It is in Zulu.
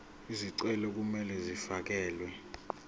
izicelo kumele zifakelwe